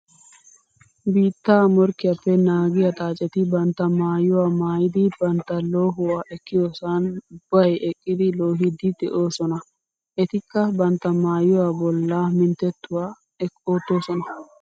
Biitta morkkiyappe naagiya xaacetti bantta maayuwa maayiddi bantta loohuwa ekkiyosan ubbay eqqiddi loohiddi de'osona. Ettikka bantta maayuwa bolla minttetuwa ootosona.